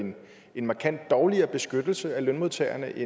en markant dårligere beskyttelse af lønmodtagerne i